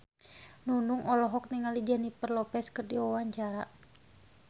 Nunung olohok ningali Jennifer Lopez keur diwawancara